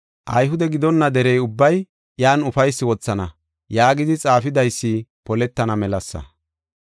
Ayhude gidonna derey ubbay iyan ufaysi wothana” yaagidi xaafidaysi poletana melasa.